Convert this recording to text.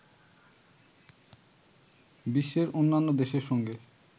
বিশ্বের অন্যান্য দেশের সঙ্গে